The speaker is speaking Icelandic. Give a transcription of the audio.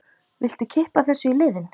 Viltu kippa þessu í liðinn?